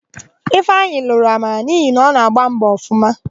Ifeanyị lụrụ Amara n'ihi na ọ na-agbọ mbọ ọfụma.